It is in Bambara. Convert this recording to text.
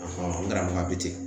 n karamɔgɔ bɛ ten